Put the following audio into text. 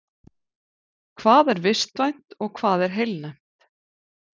Hvað er vistvænt og hvað er heilnæmt?